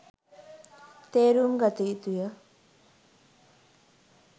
තේරුම්ගත යුතු ය.